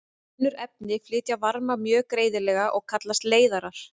Önnur efni flytja varma mjög greiðlega og kallast leiðarar.